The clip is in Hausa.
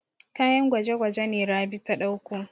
Kayan gwaje-gwaje ne Rabi ta ɗauko.